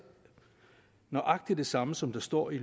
nøjagtig det samme som der står i